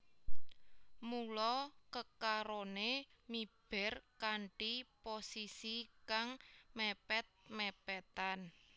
Mula kekaroné miber kanthi posisi kang mèpèt mèpètan